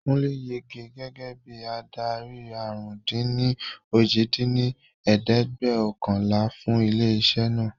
Kúnlé yege gẹ́gẹ́ bí adarí àrún-dín-ní-ojì dín ní ẹ̀ẹ́dẹ́gbẹ́ọ̀kànlá fún ilé isẹ́ naa